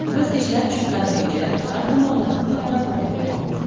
Biz ishlab chiqqan reja har tomonlama qamrab olingan.